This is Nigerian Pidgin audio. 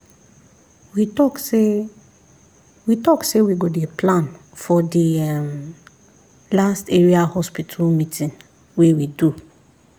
we talk say we talk say we go dey plan for the um last area hospital meeting wey we do